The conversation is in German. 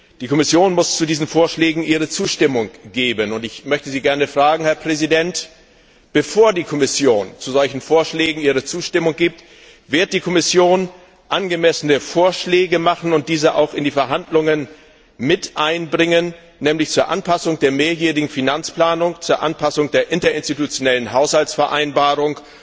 Die Kommission muss zu diesen Vorschlägen ihre Zustimmung geben, und ich möchte Sie gerne fragen, Herr Präsident Wird die Kommission, bevor sie zu solchen Vorschlägen ihre Zustimmung gibt, angemessene Vorschläge machen und diese auch in die Verhandlungen einbringen, nämlich zur Anpassung der mehrjährigen Finanzplanung, zur Anpassung der Interinstitutionellen Haushaltsvereinbarung